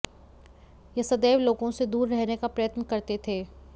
ये सदैव लोगों से दूर रहने का प्रयत्न करते थे